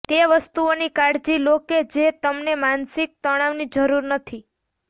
તે વસ્તુઓની કાળજી લો કે જે તમને માનસિક તણાવની જરૂર નથી